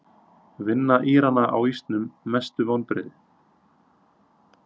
Vinna Írana á ísnum Mestu vonbrigði?